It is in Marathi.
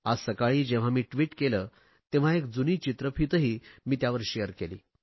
आज सकाळी जेव्हा मी ट्विट केले तेव्हा एक जुनी चित्रफितही मी त्यावर शेअर केली